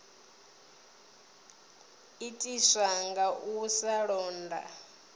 itiswa nga u sa londa